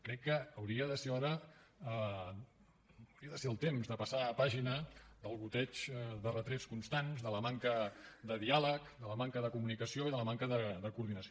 crec que hauria de ser hora hauria de ser el temps de passar pàgina del degoteig de retrets constants de la manca de diàleg de la manca de comunicació i de la manca de coordinació